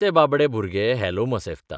तें बाबडें भुरगें हॅलो मसेफ्ता.